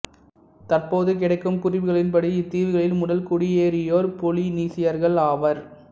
தற்போது கிடைக்கும் குறிப்புகளின்படி இத்தீவுகளில் முதல் குடியேறியோர் பொலினீசியர்கள் ஆவர்